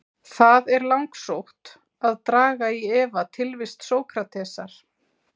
Það er langsótt að draga í efa tilvist Sókratesar.